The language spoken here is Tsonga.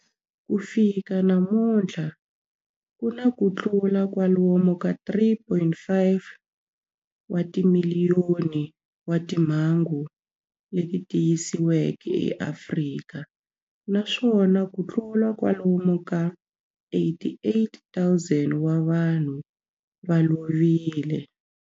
Ku fika namuntlha ku na kutlula kwalomu ka 3.5 wa timiliyoni wa timhangu leti tiyisisiweke eAfrika, naswona kutlula kwalomu ka 88,000 wa vanhu va lovile.